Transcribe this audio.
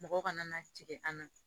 Mɔgɔ kana na tigɛ an na